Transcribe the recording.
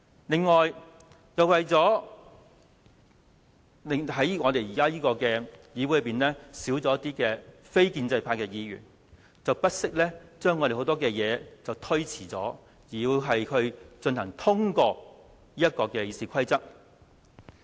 此外，由於現時議會內的非建制派議員減少，他們便不惜將很多事項推遲，以期先通過修改《議事規則》。